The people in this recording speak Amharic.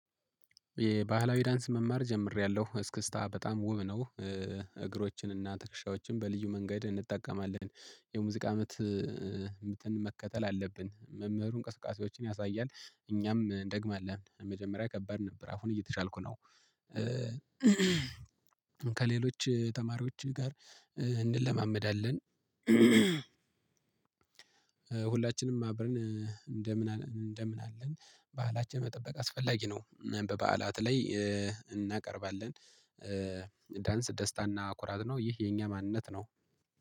የባህላዊ ዳንስ መማር ጀምሬያለሁ እስክስታ በጣም ውብ ነው። እግሮችንና ትክሻዎችን በልዩ መንገድ እንጠቀማለን። የሙዚቃ ምትን መከተል አለብን መምህሩ እንቅስቃሴዎችን ያሳያል እኛም እንደግም አለ። መጀመሪያ ከባድ ነበር አሁን እየተቻልኩ ነው። ከሌሎች ተማሪዎች ጋር እንለማመዳለን። ሁላችንም አብረን እንደምን እንደምን አለን በዓላችን መጠበቅ አስፈላጊ ነው። በበዓላት ላይ እናቀርባለን። ዳንስ ደስታና ኩራት ነው። ይህ የኛ ማንነት ነው